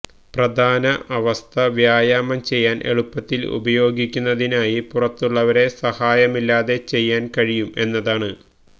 പ്രധാന അവസ്ഥ വ്യായാമം ചെയ്യാൻ എളുപ്പത്തിൽ ഉപയോഗിക്കുന്നതിനായി പുറത്തുള്ളവരെ സഹായമില്ലാതെ ചെയ്യാൻ കഴിയും എന്നതാണ്